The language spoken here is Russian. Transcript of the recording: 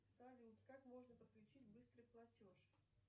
салют как можно подключить быстрый платеж